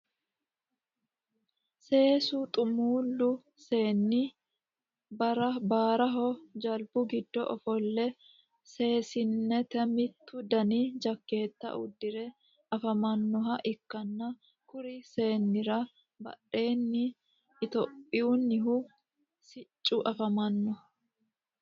sase xumuulu seeni baraho jelibu giddo ofolle saseniti mittu danni jaketa udire afamanoha ikanna kuri seenira badheenni ethihopiyunnihu sicci afamano.